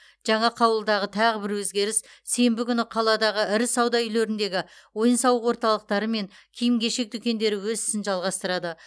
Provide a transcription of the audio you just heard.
жаңа қаулыдағы тағы бір өзгеріс сенбі күні қаладағы ірі сауда үйлеріндегі ойын сауық орталықтары мен киім кешек дүкендері өз ісін жалғастырады